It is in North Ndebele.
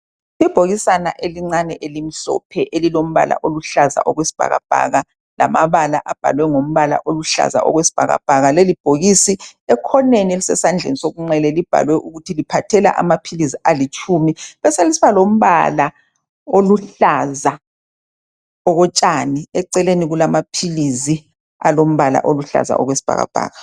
Ibhokisana elincane elilokumhlophe elilombala oluhlaza okwesibhakabhaka lamabala abhalwe ngombala akuhlaza okwesibhakabhaka lelibhokisi ekhoneni sesandleni sokungxele libhaliwe ukuthi liphathela amaphilisi alitshumi beselisiba lombala oluhlaza okotshani eceleni kulamaphilizi alombala oluhlaza okwesibhakabhaka